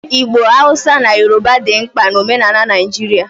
Igbo, Hausa na Yoruba dị mkpa na omenala Naijiria